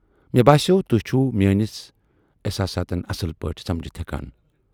مےٚ باسٮ۪وو تُہۍ چھِوٕ میٲنِس احساسات اصل پٲٹھۍ سمجھِتھ ہٮ۪کان۔